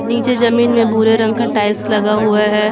नीचे जमीन में भूरे रंग का टाइल्स लगा हुआ है।